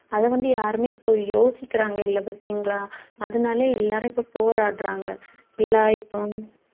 அதை வந்து யாருமே இப்போ யோசிக்கிறாங்க இல்லை பார்த்தீங்களா அதனாலே எல்லாரும் இப்போ போராடுறாங்க எல்லாம் இப்போ